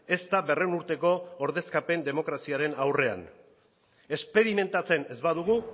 ez da berrehun urteko ordezkapen demokraziaren aurrean esperimentatzen ez badugu